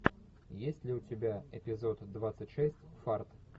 есть ли у тебя эпизод двадцать шесть фарт